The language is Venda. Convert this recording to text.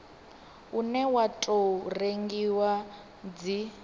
une wa tou rengiwa dzi